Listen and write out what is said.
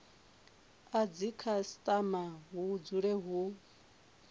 a dzikhasitama hu dzule hu